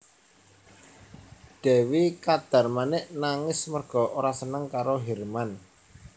Dèwi Kadarmanik nangis merga ora seneng karo sang Hirman